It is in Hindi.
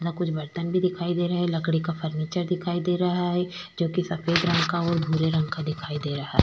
कुछ बर्तन भी दिखाई दे रहे हैं लकड़ी का फर्नीचर दिखाई दे रहा है जो कि सफेद रंग का और भूरे रंग का दिखाई दे रहा है।